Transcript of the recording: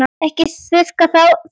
Ekki þurrka það út.